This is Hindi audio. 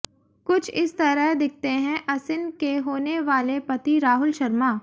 कुछ इस तरह दिखते है असिन के होने वाले पति राहुल शर्मा